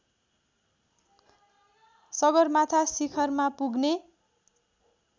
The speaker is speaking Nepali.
सगरमाथा शिखरमा पुग्ने